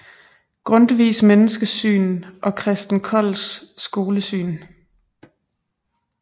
Grundtvigs menneskesyn og Christen Kolds skolesyn